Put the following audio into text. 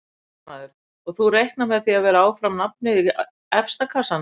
Fréttamaður: Og þú reiknar með að vera áfram nafnið í efsta kassanum?